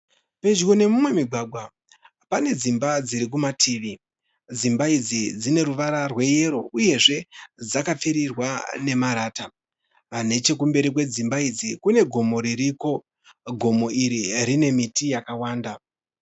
Pedyo nemumwe mugwagwa pane dzimba dziri kumativi. Dzimba idzi dzine ruvara rweyero uyezve dzakapfirirwa nemarata. Neche kumberi kwedzimba idzi kune gomo ririko. Gomo iri rine miti yakawanda